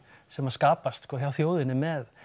sem að skapast sko hjá þjóðinni með